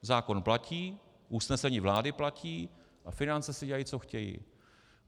Zákon platí, usnesení vlády platí a finance si dělají, co chtějí.